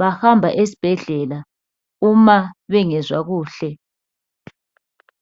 bahamba esibhedlela uma bengezwa kuhle